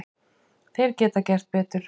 Þeir geta gert betur.